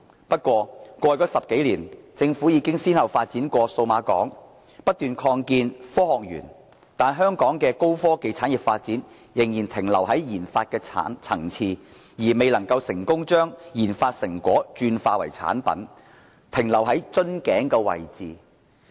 不過，在過去10多年，政府已經先後發展數碼港、不斷擴建科學園，但香港的高科技產業發展卻仍然停留在研發層次，未能成功把研發成果轉化為產品，只停留在瓶頸位置。